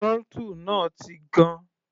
Throttle náà ti gan.